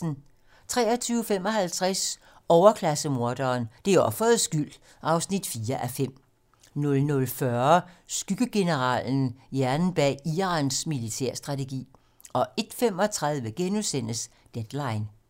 23:55: Overklasse-morderen: Det er offerets skyld (4:5) 00:40: Skyggegeneralen - hjernen bag Irans militærstrategi 01:35: Deadline *